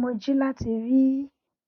mo ji lati rii